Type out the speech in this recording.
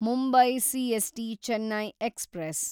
Mumbai CST Chennai express